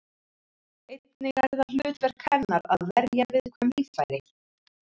Einnig er það hlutverk hennar að verja viðkvæm líffæri.